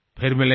फिर मिलेंगे